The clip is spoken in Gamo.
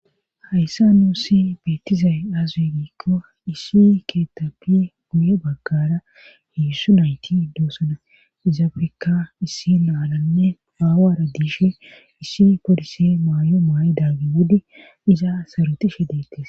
Hayssa nuusi beettizay aazwe giikko issi keetabi guye baggara heessu nayti doosana izaafeka issi naalanne aawaradishe issi forise maayo maa7idaaggi wode iza sarotishe deettes